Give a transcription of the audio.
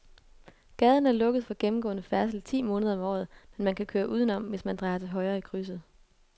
Gaden er lukket for gennemgående færdsel ti måneder om året, men man kan køre udenom, hvis man drejer til højre i krydset.